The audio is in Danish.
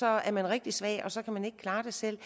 er man rigtig svag og så kan man ikke klare det selv